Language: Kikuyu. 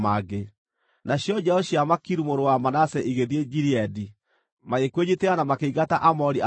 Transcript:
Nacio njiaro cia Makiru mũrũ wa Manase igĩthiĩ Gileadi, magĩkwĩnyiitĩra na makĩingata Aamori arĩa maarĩ kuo.